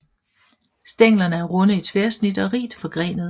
Stænglerne er runde i tværsnit og rigt forgrenede